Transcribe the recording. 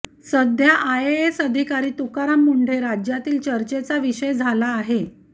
सध्या आयएएस अधिकारी तुकाराम मुंढे राज्यातील चर्चेचा विषय झाला आहे